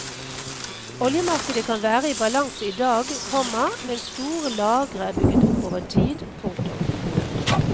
Oljemarkedet kan være i balanse i dag, komma men store lagre er bygget opp over tid. punktum